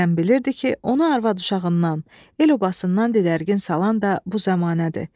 Kərəm bilirdi ki, onu arvad-uşağından, el-obasından didərgin salan da bu zəmanədir.